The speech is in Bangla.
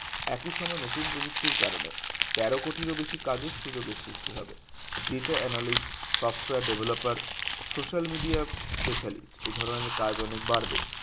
একই সময় নতুন প্রযুক্তির কারণে তেরো কোটির ও বেশি কাজের সুযোগের সৃষ্টি হবে data analyse software developer social media specially এই ধরণের কাজ অনেক বাড়বে